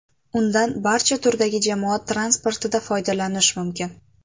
Undan barcha turdagi jamoat transportida foydalanish mumkin.